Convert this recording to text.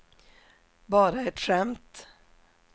bara ett skämt